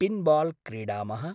Pinball क्रीडामः।